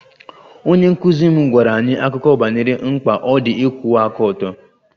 Onye nkụzi m gwara anyị akụkọ banyere mkpa ọ dị ịkwụwa aka ọtọ